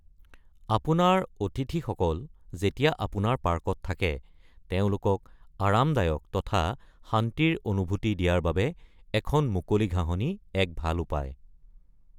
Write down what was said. আপোনাৰ অতিথিসকল যেতিয়া অপোনাৰ পাৰ্কত থাকে, তেওঁলোকক আৰামদায়ক তথা শান্তিৰ অনুভূতি দিয়াৰ বাবে এখন মুকলি ঘাহঁনি এক ভাল উপায়।